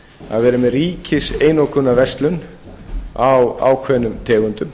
að vera með ríkiseinokunarverslun á ákveðnum tegundum